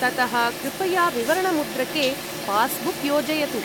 ततः कृपया विवरणमुद्रके पास्बुक् योजयतु।